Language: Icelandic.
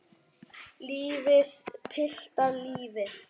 Lífið, piltar, lífið.